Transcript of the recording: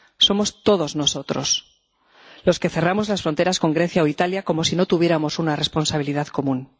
Somos todos nosotros los que cerramos las fronteras con Grecia o Italia, como si no tuviéramos una responsabilidad común.